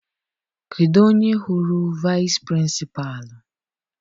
Kedụ onye hụrụ vaịsị pịrịnsịpalụ?